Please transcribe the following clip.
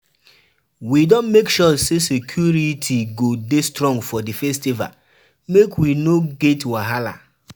We don make sure say security go dey strong for di festival, make we no get wahala.